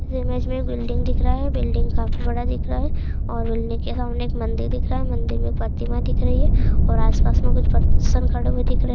ये इमेज में एक बिल्डिंग दिख रहा है बिल्डिंग काफी बड़ा दिख रहा है और बिल्डिंग के सामने एक मंदिर दिख रहा है मंदिर में एक प्रतिमा दिख रही है और आसपास मैं कुछ परसन खड़े हुए दिख रहे।